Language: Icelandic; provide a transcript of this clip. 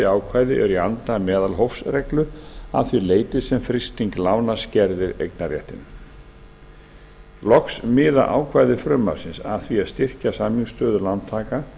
ákvæði eru í anda meðalhófsreglu að því leyti sem frysting lána skerðir eignarréttinn loks miða ákvæði frumvarpsins að því að styrkja samningsstöðu lántaka